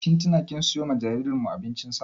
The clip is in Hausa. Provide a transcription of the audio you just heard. Kin tina kin siyo wa jaririn mu abincin sa?